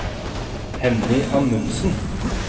Henny Amundsen